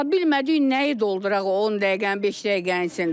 Bilmədik nəyi dolduraq o 10 dəqiqənin, beş dəqiqənin içində.